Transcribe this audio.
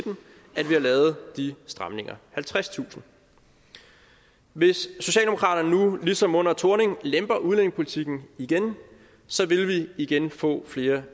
har lavet de stramninger halvtredstusind hvis socialdemokraterne nu ligesom under thorning lemper udlændingepolitikken igen vil vi igen få flere